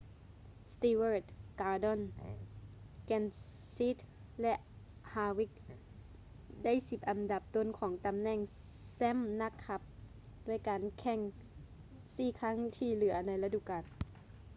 stewart gordon kenseth ແລະ harvick ໄດ້ສິບອັນດັບຕົ້ນຂອງຕໍາແໜ່ງແຊ້ມນັກຂັບດ້ວຍການແຂ່ງສີ່ຄັ້ງທີ່ເຫຼືອໃນລະດູການ